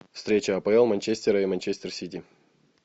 встреча апл манчестера и манчестер сити